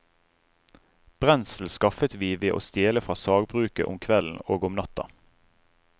Brensel skaffet vi ved å stjele fra sagbruket om kvelden og om natta.